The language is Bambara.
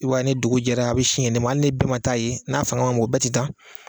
I b'a ye ni dugu jɛra a bɛ sin yen de ma hali ni bɛɛ ma taa yen n'a fanga man bon bɛɛ tɛ taa yen